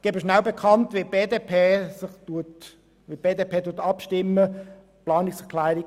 Ich gebe noch rasch bekannt, wie die BDP abstimmen wird: